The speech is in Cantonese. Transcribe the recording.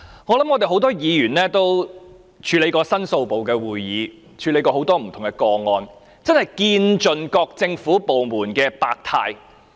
相信很多議員都出席過申訴部的會議，處理過很多不同個案，真是見盡各個政府部門的百態。